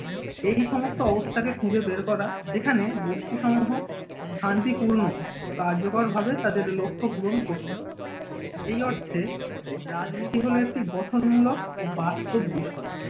এই সমস্ত অবস্থাকে খুঁজে বের করা, যেখানে গোষ্ঠীসমূহ শান্তিপূর্ণ ও কার্যকর ভাবে তাদের লক্ষ্য পূরণ করতে পারে। এই অর্থে রাজনীতি হলো একটি গঠনমূলক ও বাস্তব বিষয়।